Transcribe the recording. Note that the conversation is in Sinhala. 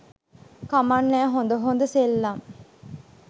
කමක් නෑ හොඳ හොඳ සෙල්ලම්